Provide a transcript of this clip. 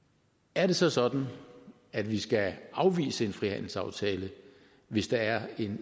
er det så sådan at vi skal afvise en frihandelsaftale hvis der er en